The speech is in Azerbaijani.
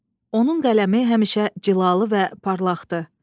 Onun qələmi həmişə cilalı və parlaqdır.